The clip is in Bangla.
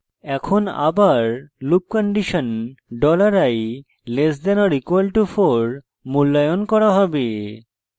এখন আবার loop condition $i <= 4 মূল্যায়ন করা হবে